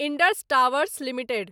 Indus towers limited